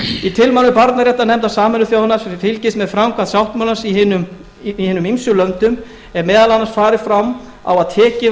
í tilmælum barnaréttarnefndar sameinuðu þjóðanna sem fylgist með framkvæmd sáttmálans í hinum ýmsu löndum er meðal annars farið fram á að tekið